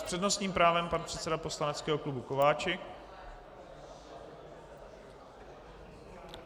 S přednostním právem pan předseda poslaneckého klubu Kováčik.